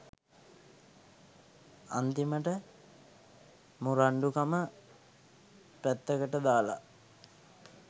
අන්‍ති‍ම‍ට ‍මු‍රණ්‍ඩු‍ක‍ම ‍පැත්‍ත‍ක‍ට ‍දා‍ලා